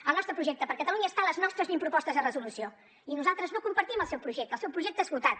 el nostre projecte per catalunya està a les nostres vint propostes de resolució i nosaltres no compartim el seu projecte el seu projecte esgotat